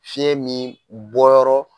Fiɲɛ min bɔyɔrɔ